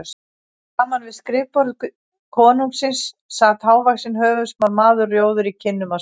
Framan við skrifborð konungsins sat hávaxinn höfuðsmár maður, rjóður í kinnum af spennu.